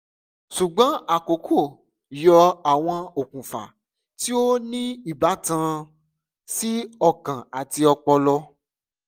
ṣugbọn akọkọ yọ awọn okunfa ti o ni ibatan si ọkan ati ọpọlọ